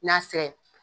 N'a fɛ